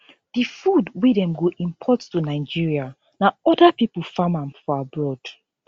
di food wey dem go import to nigeria na oda pipo farm am for abroad